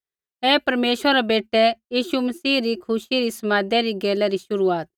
ऐ परमेश्वरा रै बेटै यीशु मसीह री खुशी रै समादै री गैला री शुरूआत